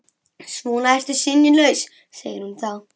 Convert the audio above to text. Svona ertu sinnulaus, segir hún þá.